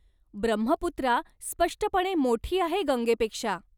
ब्रह्मपुत्रा स्पष्टपणे मोठी आहे गंगेपेक्षा.